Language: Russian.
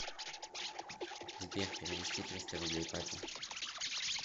сбер перевести триста рублей папе